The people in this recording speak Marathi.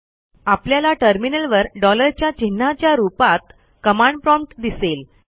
आपल्याला टर्मिनलवर डॉलरच्या चिन्हाच्या रूपात कमांड प्रॉम्प्ट दिसेल